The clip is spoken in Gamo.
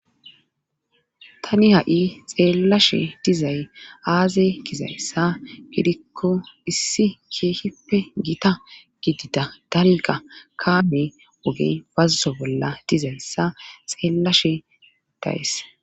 tani ha7i xeellashe dizay aaze kizayssa gidikko issi keehippe gita gidida dalga kaame ogey fazzo bolla dizayssa xeellashe dayes